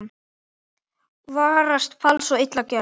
Varast fals og illa gjörð.